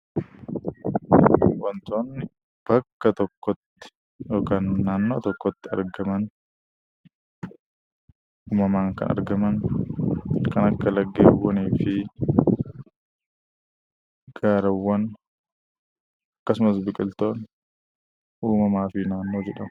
Wantoonni bakka tokkotti yookaan naannoo tokkotti uumamaan kan argaman kan akka laggeeniifi gaarawwan akkasumas biqiltoonni uumamaafi naannoo jedhamu.